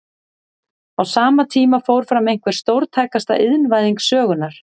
Á sama tíma fór fram einhver stórtækasta iðnvæðing sögunnar.